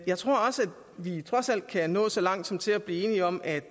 jeg tror også at vi trods alt kan nå så langt som til at blive enige om at